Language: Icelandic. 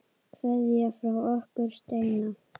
Kveðja frá okkur Steina.